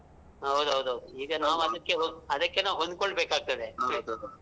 ಹೌದ್ ಹೌದ್ ಹೌದು ಈಗ ನಾವದಕ್ಕೆ ಅದಕ್ಕೆ ನಾವ್ ಹೊಂದ್ಕೊಬೇಕಾಗ್ತದೆ.